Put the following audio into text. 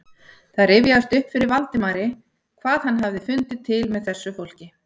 Það rifjaðist upp fyrir Valdimari hvað hann hafði fundið til með þessu fólki.